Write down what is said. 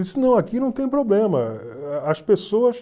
não, aqui não tem problema. As pessoas